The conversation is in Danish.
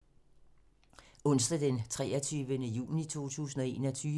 Onsdag d. 23. juni 2021